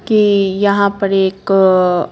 कि यहां पर एक--